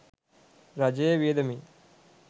රජයේ වියදමින්